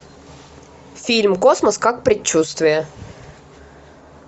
фильм космос как предчувствие